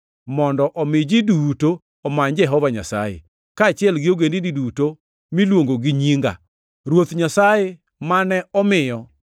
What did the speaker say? mondo omi ji duto omany Jehova Nyasaye, kaachiel gi ogendini duto miluongo gi nyinga, Ruoth Nyasaye mane omiyo,’ + 15:17 \+xt Amo 9:11,12\+xt*